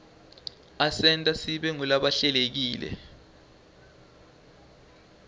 asenta sibe ngulabahlelekile